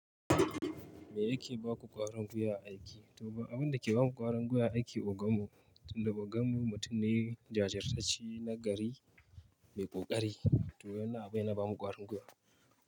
Me yake ba ku ƙwarin gwiwa a aiki? To abin da ke ba mu ƙwarin guya a aiki, ogan mu, tun da ogan mu mutum ne jajirtacce na gari mai ƙoƙari. To wannan abune da ya ba mu ƙwarin guya.